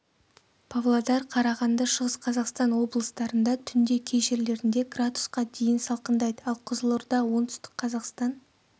павлодар қарағанды шығыс қазақстан облыстарында түнде кей жерлерінде градусқа дейін салқындайды ал қызылорда оңтүстік қазақстан